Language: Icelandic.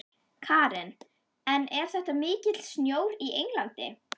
Karen: En er þetta mikill snjór í Englandi?